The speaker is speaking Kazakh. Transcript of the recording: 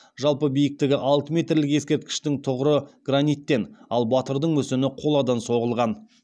жалпы биіктігі алты метрлік ескерткіштің тұғыры граниттен ал батырдың мүсіні қоладан соғылған